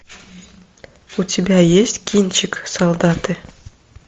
у тебя есть кинчик солдаты